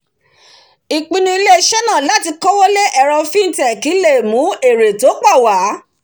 ìpinu ilé - isé náà láti kówó lé ẹ̀ro fintech le mú èrè tó pọ̀ wá